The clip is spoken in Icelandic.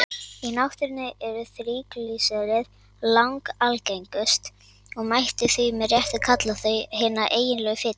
Í náttúrunni eru þríglýseríð langalgengust og mætti því með réttu kalla þau hina eiginlegu fitu.